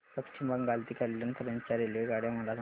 पश्चिम बंगाल ते कल्याण पर्यंत च्या रेल्वेगाड्या मला सांगा